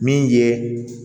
Min ye